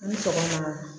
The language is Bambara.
Ni tɔgɔ